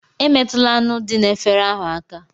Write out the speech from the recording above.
Emetụla anụ dị n'efere ahụ aka!